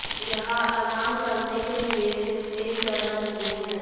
यह आराम करने के लिए सिर्फ एक जगह नहीं है